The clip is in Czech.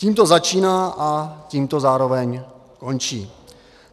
Tím to začíná a tím to zároveň končí.